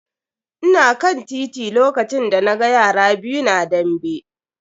Ina kan titi lokacin da na ga yara biyu na dambe.